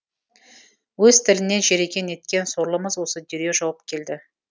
өз тілінен жеріген неткен сорлымыз осы дереу жауап келді